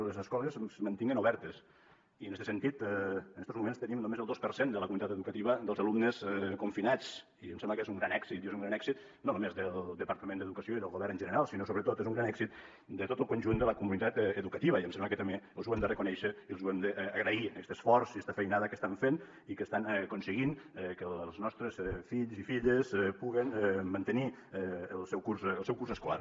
que les escoles es mantinguen obertes i en este sentit en estos moments tenim només el dos per cent de la comunitat educativa dels alumnes confinats i em sembla que és un gran èxit i és un gran èxit no només del departament d’educació i del govern en general sinó sobretot és un gran èxit de tot el conjunt de la comunitat educativa i em sembla que també els ho hem de reconèixer i els hem d’agrair aquest esforç i esta feinada que estan fent i que estan aconseguint que els nostres fills i filles puguin mantenir el seu curs escolar